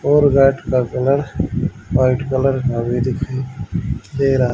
और गेट का colour white colour का भी दीखाई दे रहा--